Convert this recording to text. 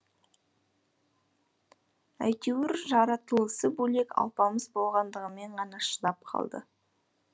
әйтеуір жаратылысы бөлек алпамыс болғандығымен ғана шыдап қалды